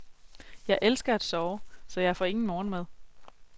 Jeg elsker at sove, så jeg får ingen morgenmad.